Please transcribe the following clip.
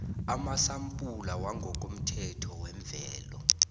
kwamasampula wangokomthetho wembewu